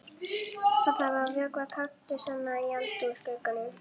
Það þarf að vökva kaktusana í eldhúsglugganum.